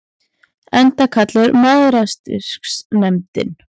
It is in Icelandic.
Enda kallaður Mæðrastyrksnefndin.